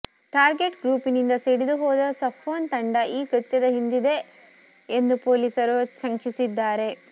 target ಗ್ರೂಪಿನಿಂದ ಸಿಡಿದು ಹೋದ ಸಫ್ವಾನ್ ತಂಡ ಈ ಕೃತ್ಯದ ಹಿಂದಿದೆ ಎಂದು ಪೊಲೀಸರು ಶಂಕಿಸಿದ್ದಾರೆ